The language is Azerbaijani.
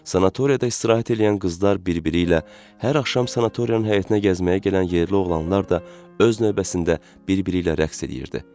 Sanatoriyada istirahət eləyən qızlar bir-biri ilə, hər axşam sanatoriyanın həyətinə gəzməyə gələn yerli oğlanlar da öz növbəsində bir-biri ilə rəqs eləyirdi.